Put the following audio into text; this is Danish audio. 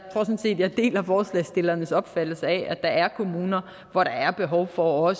sådan set at jeg deler forslagsstillernes opfattelse af at der er kommuner hvor der er behov for